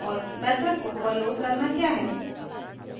और method को overload करना क्या है